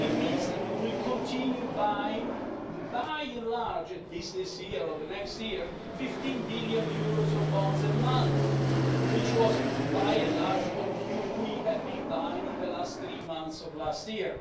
It means that we will continue buying, by and large at least this year or the next year 15 billion euros of bonds a month, which was, by and large, what we had been buying in the last 3 months of last year.